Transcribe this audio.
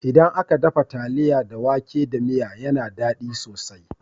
Idan aka dafa taliya da wake da miya yana dadi sosai